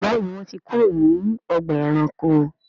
Béèni wón tí kúrò ní Ọgbà ẹranko.